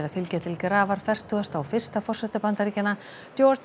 fylgja til grafar fertugasta og fyrsta forseta Bandaríkjanna